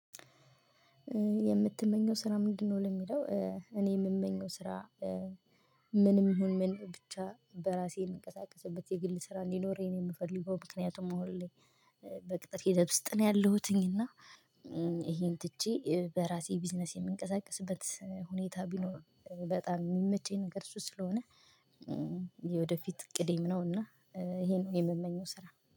የምትመኚው ስራ ምንድነው? ለሚለው እኔ የምመኘው ስራ። ምንም ይሁን ምን ብቻ በራሴ የምንቀሳቀስበት የግል ስራ እንዲኖረኝ የምፈልገው ምክንያቱም አሁን ላይ በቅጥር ሂደት ውስጥ ነው ያለሁትኝ። እና ይሄን ትቼ በራሴ ቢዝነስ የምንቀሳቅስበት ሁኔታ ቢኖር በጣም የሚመቸኝ ነገር እሱ ስለሆነ። የወደፊት እቅዴም ነው እና ይሄ ነው የምመኘው ስራ